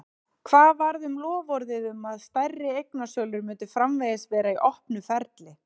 Hvað varð um loforðið um það að stærri eignasölur myndu framvegis vera í opnu ferli?